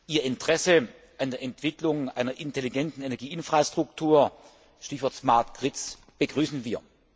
Ihr Interesse an der Entwicklung einer intelligenten Energie Infrastruktur Stichwort begrüßen wir.